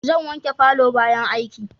Zan wanke palour bayan aiki